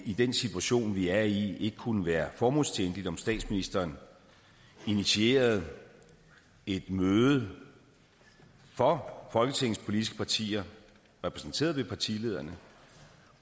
i den situation vi er i ikke kunne være formålstjenligt om statsministeren initierede et møde for folketingets politiske partier repræsenteret ved partilederne